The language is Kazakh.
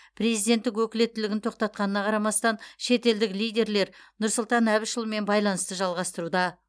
президенттік өкілеттігін тоқтатқанына қарамастан шетелдік лидерлер нұрсұлтан әбішұлымен байланысты жалғастыруда